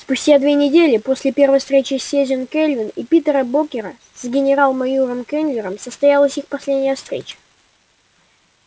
спустя две недели после первой встречи сьюзен кэлвин и питера богера с генерал майором кэллнером состоялась их последняя встреча